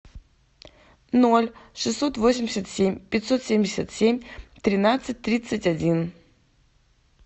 ноль шестьсот восемьдесят семь пятьсот семьдесят семь тринадцать тридцать один